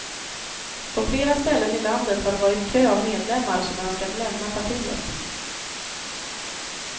På flera ställen i landet har det varit kö av medlemmar som önskat lämna partiet.